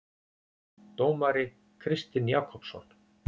Dómari Kristinn Jakobsson.